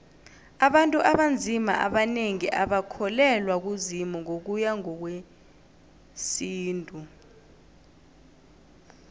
abantu abanzima abanengi abakholelwa kuzimu ngokuya ngowesintu